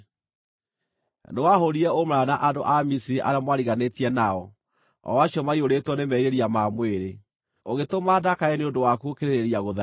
Nĩwahũũrire ũmaraya na andũ a Misiri arĩa mwariganĩtie nao, o acio maiyũrĩtwo nĩ merirĩria ma mwĩrĩ, ũgĩtũma ndakare nĩ ũndũ waku gũkĩrĩrĩria gũtharia.